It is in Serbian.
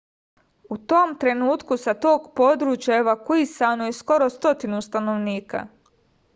u tom trenutku sa tog područja evakuisano je skoro stotinu stanovnika